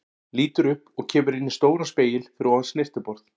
Lítur upp og kemur inn í stóran spegil fyrir ofan snyrtiborð.